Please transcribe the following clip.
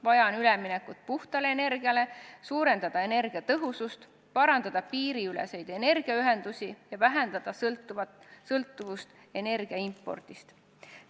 Vaja on üleminekut puhtale energiale, vaja on suurendada energiatõhusust, parandada piiriüleseid energiaühendusi ja vähendada sõltuvust energia impordist.